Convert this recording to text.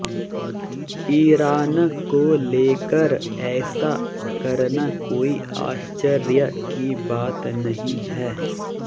Iran को लेकर ऐसा करना कोई आश्चर्य की बात नहीं है